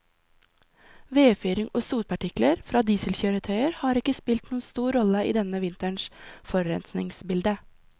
Vedfyring og sotpartikler fra dieselkjøretøyer har ikke spilt noen stor rolle i denne vinterens forurensningsbilde.